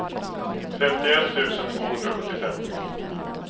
femtioett tusen tvåhundrasjuttiofem